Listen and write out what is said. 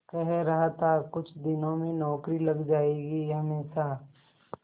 कह रहा था कुछ दिनों में नौकरी लग जाएगी हमेशा